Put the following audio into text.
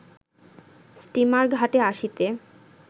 steamer ঘাটে আসিতে